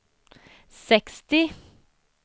sextio